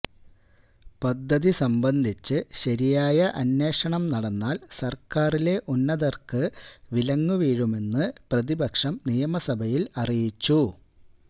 പദ്ധതി സംബന്ധിച്ച് ശരിയായ അന്വേഷണം നടന്നാൽ സർക്കാരിലെ ഉന്നതർക്ക് വിലങ്ങു വീഴുമെന്ന് പ്രതിപക്ഷം നിയമസഭയിൽ അറിയിച്ചു